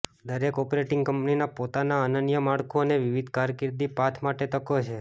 દરેક ઓપરેટિંગ કંપનીના પોતાના અનન્ય માળખું અને વિવિધ કારકિર્દી પાથ માટે તકો છે